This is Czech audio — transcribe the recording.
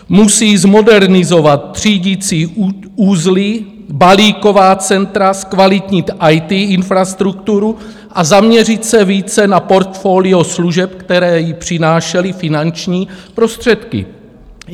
Musí zmodernizovat třídicí uzly, balíková centra, zkvalitnit IT infrastrukturu a zaměřit se více na portfolio služeb, které jí přinášely finanční prostředky.